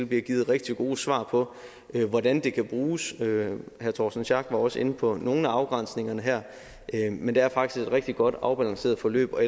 bliver givet rigtig gode svar på hvordan det kan bruges herre torsten schack pedersen var også inde på nogle af afgrænsningerne her men det har faktisk været rigtig godt og afbalanceret forløb og